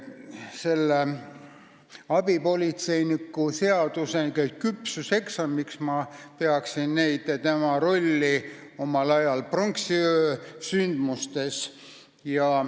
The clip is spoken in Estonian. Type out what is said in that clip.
Selle abipolitseiniku seaduse küpsuseksamiks pean ma abipolitseinike rolli pronksiöö sündmustes.